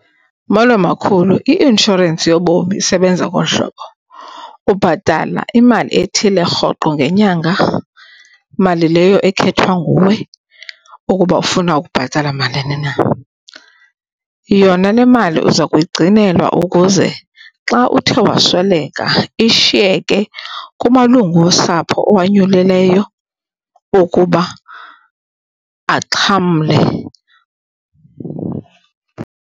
Molo, makhulu. I-inshorensi yobomi isebenza ngolu hlobo, ubhatala imali ethile rhoqo ngenyanga, mali leyo ekhethwa nguwe ukuba ufuna ukubhatala malini na. Yona le mali uza kuyigcinelwa ukuze xa uthe wasweleka ishiyeke kumalungu osapho owanyulileyo ukuba axhamle.